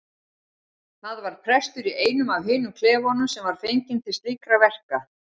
Það var prestur í einum af hinum klefunum sem var fenginn til slíkra verka.